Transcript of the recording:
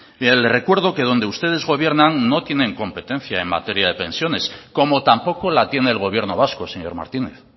mire le recuerdo que donde ustedes gobiernan no tienen competencia en materia de pensiones como tampoco la tiene el gobierno vasco señor martínez